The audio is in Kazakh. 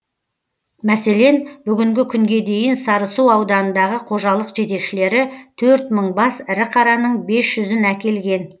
мәселен бүгінгі күнге дейін сарысу ауданындағы қожалық жетекшілері төрт мың бас ірі қараның бес жүзін әкелген